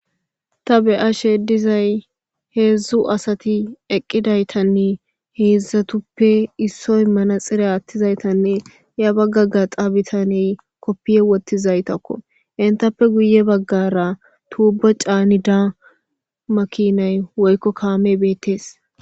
ta beya shedizay heedzdzu asati eqqidaytanne heedzdzatuppe issoy mana xire attizaytanne ya baggaga xaabitaney koppiye wottizaytakko entappe guye baggara tuubo caani da makinay woykko kaame beettees